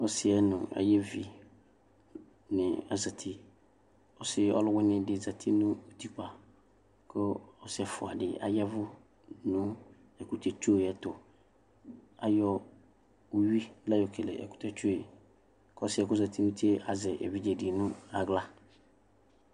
ɔsi nu ayiʋ evi ni azati ɔsi ɔluwini di zati nu utikpə ku ɔsi ɛfua di ɔyavʋ nu ɛkutɛtso yɛ'tuAyɔ uwi layɔ keke ɛkutɛtso yɛku ɔsi yɛ ku ɔzati yɛ azɛ evidze di nu aɣla